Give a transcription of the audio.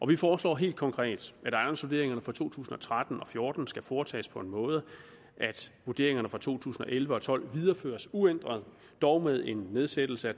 vi foreslår helt konkret at ejendomsvurderingerne for to tusind og tretten og fjorten skal foretages på en måde så vurderingerne fra to tusind og elleve og tolv videreføres uændret dog med en nedsættelse